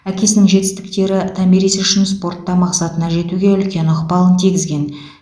әкесінің жетістіктері томирис үшін спортта мақсатына жетуге үлкен ықпалын тигізген